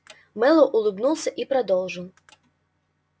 мэллоу улыбнулся и продолжил